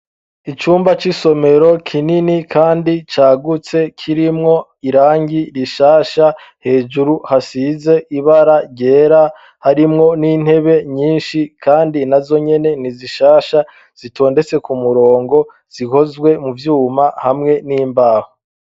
Icumba c'isomero kinini, kandi cagutse kirimwo irangi rishasha hejuru hasize ibara ryera harimwo n'intebe nyinshi, kandi na zo nyene ni zishasha zitondetse ku murongo zihozwe mu vyuma hamwe n'imbaho.